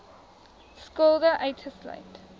skulde uitgesluit